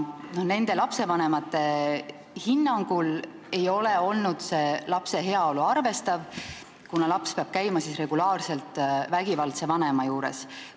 Nende lapsevanemate hinnangul ei ole kohus arvestanud lapse heaolu, sest laps peab käima regulaarselt vägivaldse vanema juures.